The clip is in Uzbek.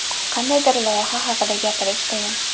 Qandaydir loyiha haqida gapirish qiyin.